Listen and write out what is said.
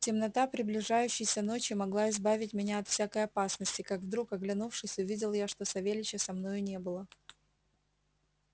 темнота приближающейся ночи могла избавить меня от всякой опасности как вдруг оглянувшись увидел я что савельича со мною не было